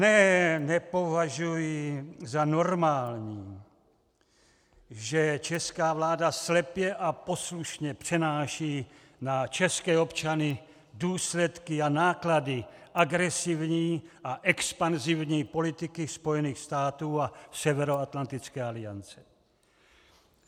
Ne, nepovažuji za normální, že česká vláda slepě a poslušně přenáší na české občany důsledky a náklady agresivní a expanzivní politiky Spojených států a Severoatlantické aliance.